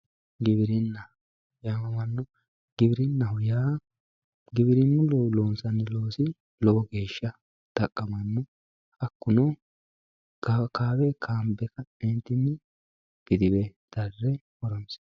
Giwirinna yaamamanno, giwirinaho yaa giwirinuyi loonsanni loosi lowo geesha xaqqamanno hakuno xa kaawe kaambe ka'nentinni gidiwe dare horonsinanni